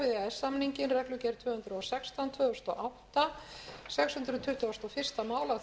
frú forseti virðulegur forseti á þakkir skildar fyrir að